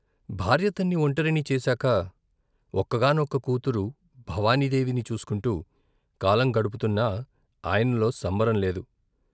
భార్యతన్ని ఒంటరిని చేశాక ఒక్కగానొక్క కూతురు భవానీ దేవిని చూసుకుంటూ కాలం గడుపుతున్నా, ఆయనలో సంబరం లేదు.